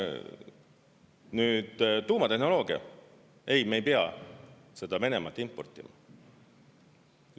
Nüüd tuumatehnoloogia – ei, me ei pea seda Venemaalt importima.